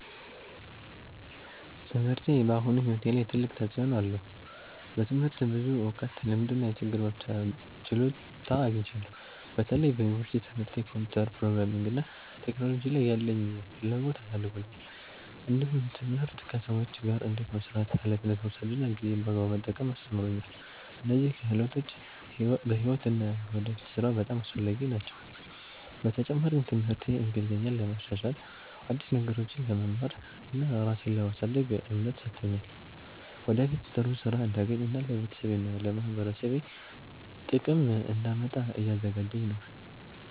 ትምህርቴ በአሁኑ ሕይወቴ ላይ ትልቅ ተፅዕኖ አለው። በትምህርት ብዙ እውቀት፣ ልምድ እና የችግር መፍቻ ችሎታ አግኝቻለሁ። በተለይ በዩኒቨርሲቲ ትምህርቴ ኮምፒውተር፣ ፕሮግራሚንግ እና ቴክኖሎጂ ላይ ያለኝን ፍላጎት አሳድጎልኛል። እንዲሁም ትምህርት ከሰዎች ጋር እንዴት መስራት፣ ኃላፊነት መውሰድ እና ጊዜን በአግባቡ መጠቀም አስተምሮኛል። እነዚህ ክህሎቶች በሕይወት እና በወደፊት ሥራ በጣም አስፈላጊ ናቸው። በተጨማሪም ትምህርቴ እንግሊዝኛን ለማሻሻል፣ አዲስ ነገሮችን ለመማር እና ራሴን ለማሳደግ እምነት ሰጥቶኛል። ወደፊት ጥሩ ሥራ እንዳገኝ እና ለቤተሰቤና ለማህበረሰቤ ጥቅም እንዳመጣ እያዘጋጀኝ ነው።